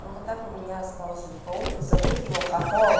ну вот так у меня стал жить паук и зовут его хохол